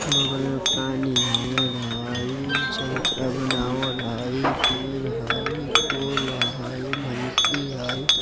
बगल में पानी नीर हई चबूतरा बनावल हई पेंड़ हैय पोल हई भैसी हई।